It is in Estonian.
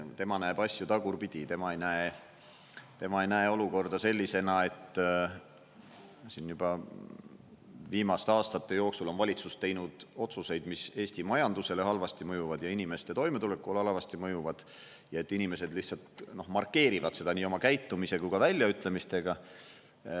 Tema näeb asju tagurpidi, tema ei näe olukorda sellisena, et siin juba viimaste aastate jooksul on valitsus teinud otsuseid, mis Eesti majandusele halvasti mõjuvad ja inimeste toimetulekule halvasti mõjuvad, ja et inimesed lihtsalt markeerivad seda nii oma käitumise kui ka väljaütlemistega.